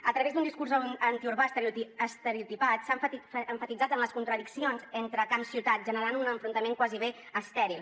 a través d’un discurs antiurbà estereotipat s’ha emfatitzat en les contradiccions entre camp ciutat generant un enfrontament gairebé estèril